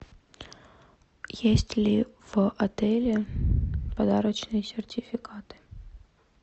есть ли в отеле подарочные сертификаты